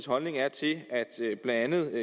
holdning er til at blandt andet